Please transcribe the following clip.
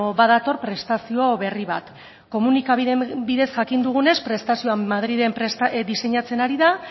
badator prestazio berri bat komunikabideen bidez jakin dugunez prestazioa madrilen diseinatzen ari da